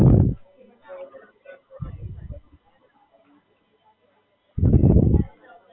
ના, હમણાં તો નથી આયુ.